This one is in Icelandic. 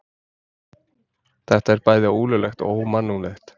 Þetta er bæði ólöglegt og ómannúðlegt